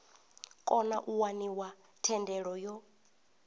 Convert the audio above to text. kona u waniwa thendelo yo